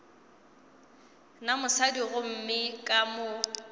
na mosadi gomme ka mo